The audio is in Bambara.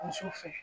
Muso fɛ